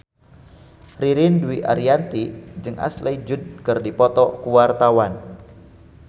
Ririn Dwi Ariyanti jeung Ashley Judd keur dipoto ku wartawan